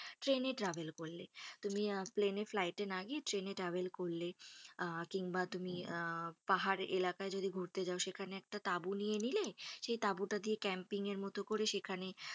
ট্রেনে travel করলে তুমি আহ প্লেনে ফ্লাইটে না গিয়ে ট্রেনে travel করলে আহ কিংবা আহ পাহাড় এলাকায় যদি ঘুরতে যাও সেখানে একটা তাবু নিয়ে নিলে সেই তাঁবুটা দিয়ে কেম্পিংএর মতো করে সেখানে,